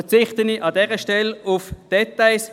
Ich verzichte an dieser Stelle auf Details.